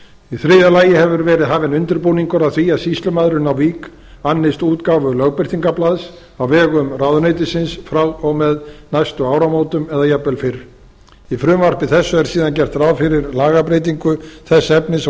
í þriðja lagi hefur verið hafinn undirbúningur að því að sýslumaðurinn í vík annist útgáfu lögbirtingablaðs á vegum ráðuneytisins frá og með næstu áramótum eða jafnvel fyrr í frumvarpi þessu er síðan gert ráð fyrir lagabreytingu þess efnis að